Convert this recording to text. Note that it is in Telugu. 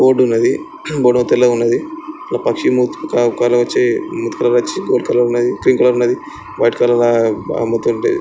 బోర్డ్ ఉన్నది. బోర్డ్ తెల్లగున్నది. ఒక పక్షి మూతి క కల వచ్చి మూతి కలర్ వచ్చి గోల్డ్ కలర్ ఉన్నది. క్రీమ్ కలర్ ఉన్నది వైట్ కలర్ లా బ అమ్ముతుంటి--